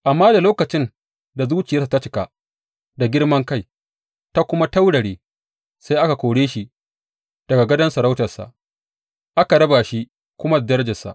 Amma da lokacin da zuciyarsa ta cika da girman kai ta kuma taurare, sai aka kore shi daga gadon sarautarsa, aka raba shi kuma da darajarsa.